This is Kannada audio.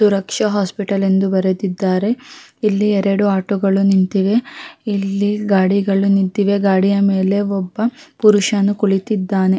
ಸುರಕ್ಷ ಹಾಸ್ಪಿಟಲ್ ಎಂದು ಬರೆದಿದ್ದಾರೆ ಇಲ್ಲಿ ಎರಡು ಆಟೋಗಳು ನಿಂತಿವೆ ಇಲ್ಲಿ ಗಾಡಿಗಳು ನಿಂತಿವೆ ಗಾಡಿಯ ಮೇಲೆ ಒಬ್ಬ ಪುರುಷನು ಕುಳಿತ್ತಿದ್ದಾನೆ.